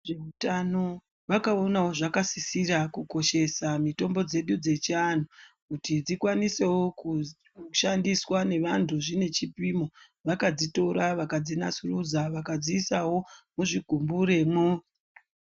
Vezveutano, vakaonawo zvakasisira kukoshesa mitombo dzedu dzechivantu kuti dzikwanisewo kushandiswa nevantu zvine chipimo. Vakadzitora vakadzi nasurudza vakadziisawo muzvigumbure mwo.